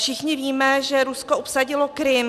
Všichni víme, že Rusko obsadilo Krym.